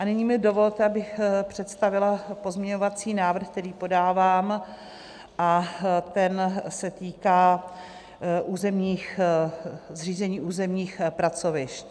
A nyní mi dovolte, abych představila pozměňovací návrh, který podávám, a ten se týká zřízení územních pracovišť.